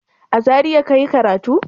A Zariya ka yi karatu?